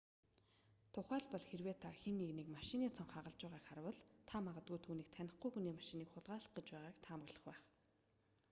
тухайлбал хэрэв та хэн нэгнийг машины цонх хагалж байгааг харвал та магадгүй түүнийг танихгүй хүний машиныг хулгайлах гэж байгааг таамаглах байх